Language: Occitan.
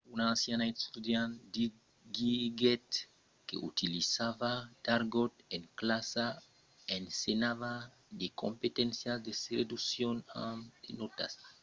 un ancian estudiant diguèt que 'utilizava d’argòt en classa ensenhava de competéncias de seduccion amb de nòtas e qu’èra just coma un amic dels estudiants'